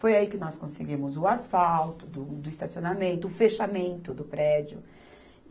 Foi aí que nós conseguimos o asfalto, do do estacionamento, o fechamento do prédio.